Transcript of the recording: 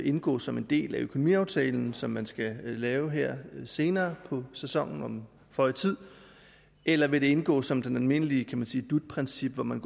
indgå som en del af økonomiaftalen som man skal lave her senere på sæsonen om føje tid eller vil det indgå som det almindelige dut princip hvor man